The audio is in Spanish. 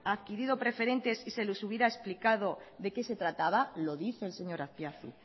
adquirido preferentes si se les hubiera explicado de qué se trataba lo dice el señor azpiazu